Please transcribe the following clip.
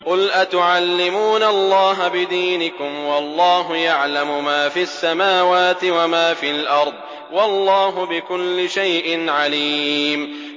قُلْ أَتُعَلِّمُونَ اللَّهَ بِدِينِكُمْ وَاللَّهُ يَعْلَمُ مَا فِي السَّمَاوَاتِ وَمَا فِي الْأَرْضِ ۚ وَاللَّهُ بِكُلِّ شَيْءٍ عَلِيمٌ